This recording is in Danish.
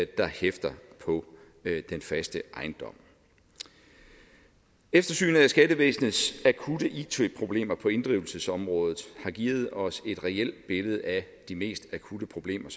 der hæfter på den faste ejendom eftersynet af skattevæsenets akutte it problemer på inddrivelsesområdet har givet os et reelt billede af de mest akutte problemer